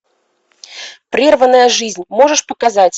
прерванная жизнь можешь показать